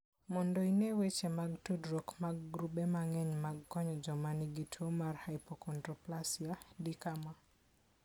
Mondo ine weche mag tudruok mag grube mang'eny mag konyo joma nigi tuwo mar hypochondroplasia, di kama.